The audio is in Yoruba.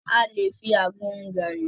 A lè fi àgbọn mu gàri.